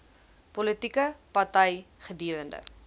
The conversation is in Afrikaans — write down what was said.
politieke party gedurende